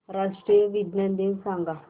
राष्ट्रीय विज्ञान दिन सांगा